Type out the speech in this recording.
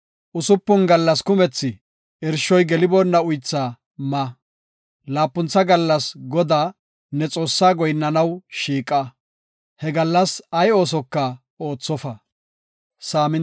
Usupun gallas kumethi irshoy geliboonna uythaa ma; laapuntha gallas Godaa, ne Xoossaa goyinnanaw shiiqa; he gallas ay oosoka oothofa.